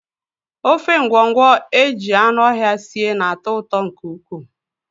Ofe ngwọngwọ e ji anụ ọhịa sie na-atọ ụtọ nke ukwuu